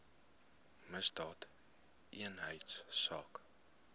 misdaadeenheidsaak